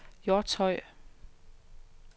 Hjortshøj